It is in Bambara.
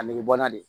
A nege bɔ n na de